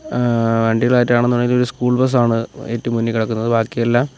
ആഹ് വണ്ടികൾ ആയിട്ട് ആണെന്ന് ഉണ്ടെങ്കിൽ ഒരു സ്കൂൾ ബസ് ആണ് ഏറ്റവും മുന്നിൽ കിടക്കുന്നത് ബാക്കിയെല്ലാം --